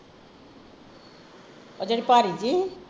ਓਹ ਜਿਹੜੀ ਭਾਰੀ ਜਹੀ?